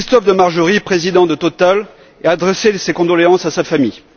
Christophe de Margerie, président de Total, et adresser mes condoléances à sa famille.